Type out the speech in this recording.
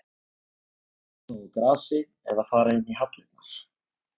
Spila þá á grasi eða fara inn í hallirnar?